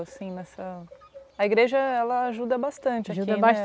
assim nessa... A igreja ela ajuda bastante aqui né?